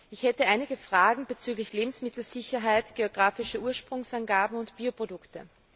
Ich hätte einige Fragen bezüglich Lebensmittelsicherheit, geografischer Ursprungsangaben und Bioprodukten.